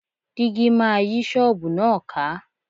Dígí máa yí ṣọ́ọ̀bù náà ká.